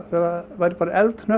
það væri bara